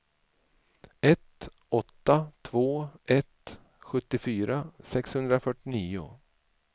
ett åtta två ett sjuttiofyra sexhundrafyrtionio